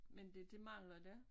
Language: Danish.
Men det det mangler der